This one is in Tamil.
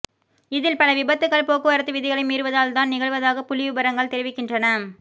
இதில் பல விபத்துக்கள் போக்குவரத்து விதிகளை மீறுவதால் தான் நிகழ்வதாக புள்ளி விபரங்கள் தெரிவிக்கின்றன